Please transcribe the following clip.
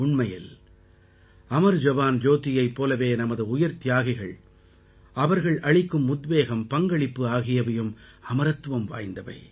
உண்மையில் அமர் ஜவான் ஜோதியைப் போலவே நமது உயிர்த்தியாகிகள் அவர்கள் அளிக்கும் உத்வேகம்பங்களிப்பு ஆகியவையும் அமரத்துவம் வாய்ந்தவை